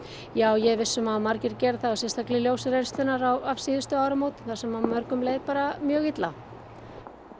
já ég er viss um að margir gera það sérstaklega í ljósi reynslunnar af síðustu áramótum þar sem mörgum leið bara mjög illa